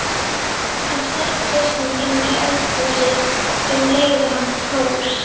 Hann stakk hausnum inní eldhúsið um leið og hann fór.